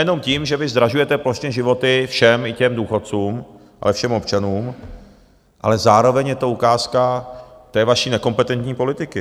Nejenom tím, že vy zdražujete plošně životy všem, i těm důchodcům, ale všem občanům, ale zároveň je to ukázka té vaší nekompetentní politiky.